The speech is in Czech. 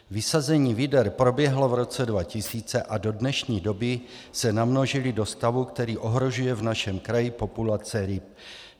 Vysazení vyder proběhlo v roce 2000 a do dnešní doby se namnožily do stavu, který ohrožuje v našem kraji populace ryb.